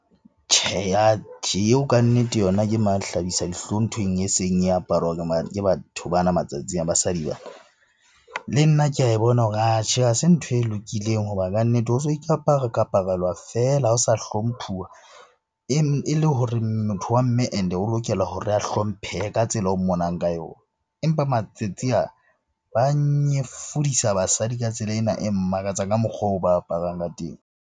Tjhe, atjhe eo kannete yona ke mahlabisadihlong nthweng eseng e aparwa ke batho bana matsatsing a basadi . Le nna ke ae bona hore atjhe ha se ntho e lokileng hoba kannete ho so ikapara-kaparelwa feela ha o sa hlomphuwa. E le hore motho wa mme and-e o lokela hore a hlomphehe ka tsela o mmonang ka yona. Empa matsatsi a, ba nyefodisa basadi ka tsela ena e mmakatsang ka mokgwa oo ba aparang ka teng.